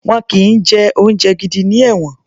Wọn kì í jẹ oúnjẹ gidi ní ẹ̀wọ̀n